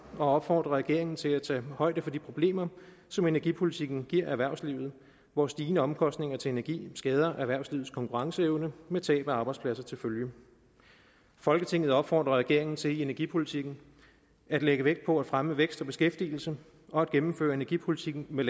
og opfordrer regeringen til at tage højde for de problemer som energipolitikken giver erhvervslivet hvor stigende omkostninger til energi skader erhvervslivets konkurrenceevne med tab af arbejdspladser til følge folketinget opfordrer regeringen til i energipolitikken at lægge vægt på at fremme vækst og beskæftigelse og at gennemføre energipolitikken med